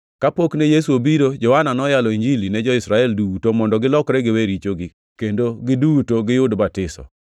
Kapok ne Yesu obiro, Johana noyalo Injili ne jo-Israel duto mondo gilokre giwe richogi kendo giduto giyud batiso.